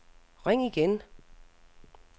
ring igen